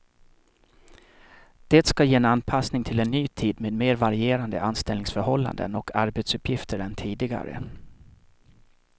Det ska ge en anpassning till en ny tid med mer varierande anställningsförhållanden och arbetsuppgifter än tidigare.